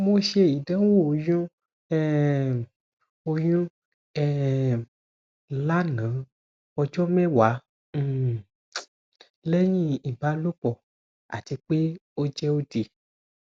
mo ṣe idanwo oyun um oyun um lana ọjọ mẹwa um lẹhin ibalopọ ati pe o jẹ odi